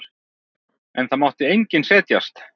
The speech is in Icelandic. En það mátti enginn setjast.